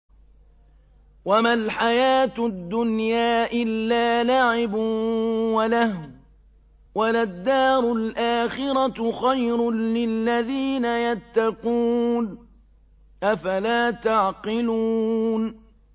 وَمَا الْحَيَاةُ الدُّنْيَا إِلَّا لَعِبٌ وَلَهْوٌ ۖ وَلَلدَّارُ الْآخِرَةُ خَيْرٌ لِّلَّذِينَ يَتَّقُونَ ۗ أَفَلَا تَعْقِلُونَ